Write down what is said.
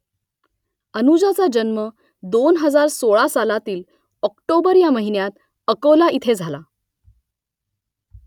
अनुजाचा जन्म दोन हजार सोळा सालातील ऑक्टोबर या महिन्यात अकोला इथे झाला